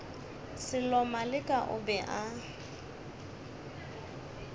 sello maleka o be a